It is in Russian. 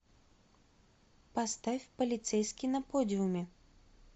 поставь полицейский на подиуме